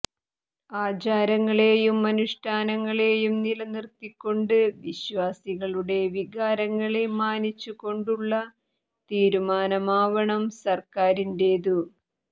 ആചാരങ്ങളെയും അനുഷ്ഠാനങ്ങളെയും നിലനിർത്തിക്കൊണ്ട് വിശ്വാസികളുടെ വികാരങ്ങളെ മാനിച്ചു കൊണ്ടുള്ള തീർമാനമാവണം സർക്കാരിന്റേതു